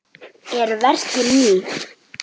Eru verkin ný?